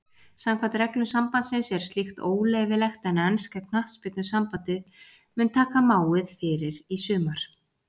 Samkvæmt reglum sambandsins er slíkt óleyfilegt en enska knattspyrnusambandið mun taka máið fyrir í sumar.